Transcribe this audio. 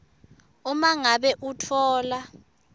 uma ngabe utfola